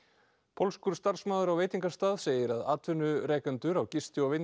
pólskur starfsmaður á veitingastað segir að atvinnrekendur á gisti og